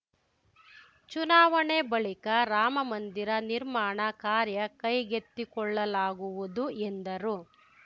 ಚುನಾವಣೆ ಬಳಿಕ ರಾಮಮಂದಿರ ನಿರ್ಮಾಣ ಕಾರ್ಯ ಕೈಗೆತ್ತಿಕೊಳ್ಳಲಾಗುವುದು ಎಂದರು